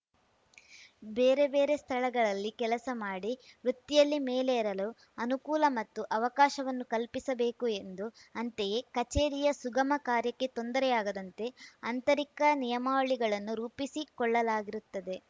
ಬೇರೆಬೇರೆ ಸ್ಥಳಗಳಲ್ಲಿ ಕೆಲಸ ಮಾಡಿ ವೃತ್ತಿಯಲ್ಲಿ ಮೇಲೇರಲು ಅನುಕೂಲ ಮತ್ತು ಅವಕಾಶವನ್ನು ಕಲ್ಪಿಸಬೇಕು ಎಂದು ಅಂತೆಯೇ ಕಚೇರಿಯ ಸುಗಮ ಕಾರ್ಯಕ್ಕೆ ತೊಂದರೆಯಾಗದಂತೆ ಅಂತರಿಕ ನಿಯಮಾವಳಿಗಳನ್ನು ರೂಪಿಸಿಕೊಳ್ಳಲಾಗಿರುತ್ತದೆ